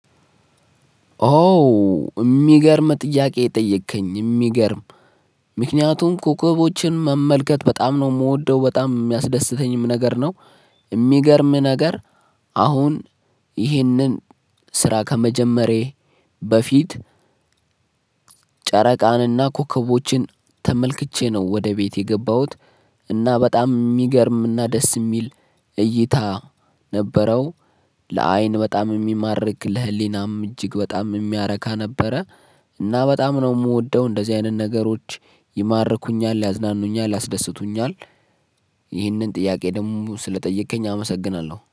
ኦ ሚገርም ጥያቄ ጠየከኝ ሚገርም ምክንያቱም ኮከቦችን መመልከት በጣም ነው ምወደው በጣም የሚያስደስተኝም ነገር ነው። የሚገርም ነገር አሁን ይህንን ስራ ከመጀመሬ በፊት ጨረቃንና ኮከቦችን ተመልክቼ ነው ወደ ቤቴ የገባሁት። እና በጣም ሚገርም እና ደስ ሚል እይታ ነበረው ለአይን በጣም የሚማርክ ለህሊናም እጅግ በጣም የሚያረካ ነበረ። እና በጣም ነው የምወደው እንደዚህ አይነት ነገሮች ይማርኩኛል ያዝናኑኛል ያስደስቱኛል። ይህንን ጥያቄ ደግሞ ስለጠየከኝ አመሰግናለሁ